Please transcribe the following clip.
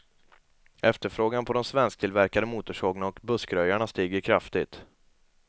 Efterfrågan på de svensktillverkade motorsågarna och buskröjarna stiger kraftigt.